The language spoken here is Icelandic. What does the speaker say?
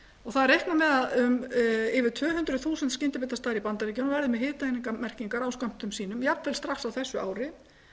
er reiknað með að yfir tvö hundruð þúsund skyndibitastaðir í bandaríkjunum verði með hitaeiningamerkingar á skömmtum sínum jafnvel strax á þessu ári